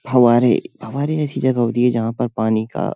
फवारेफवारे ऐसी जगह होती है जहाँ पर पानी का --